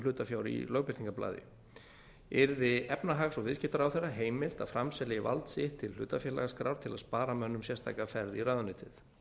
hlutafjár í lögbirtingarblaði yrði efnahags og viðskiptaráðherra heimilt að framselja í vald sitt til hlutafélagaskrár til að spara mönnum sérstaka ferð í ráðuneytið